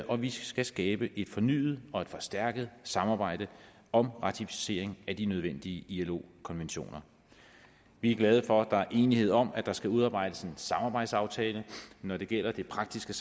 og vi skal skabe et fornyet og forstærket samarbejde om ratificering af de nødvendige ilo konventioner vi er glade for at der er enighed om at der skal udarbejdes en samarbejdsaftale når det gælder det praktiske